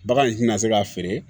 Bagan in tɛna se k'a feere